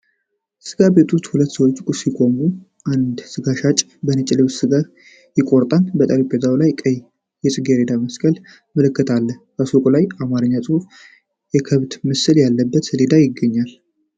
ስጋ ቤት ውስጥ ሁለት ሰዎች ሲቆሙ፣ አንድ ስጋ ሻጭ በነጭ ልብስ ስጋ ይቆራርጣል። በጠረጴዛው ላይ ቀይ የጽጌረዳ መስቀል ምልክት አለ። ከሱቁ በላይ የአማርኛ ጽሑፍና የከብት ምስል ያለበት ሰሌዳ ይገኛል።